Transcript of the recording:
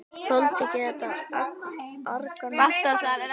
Þoldi ekki þetta argaþras í Lenu.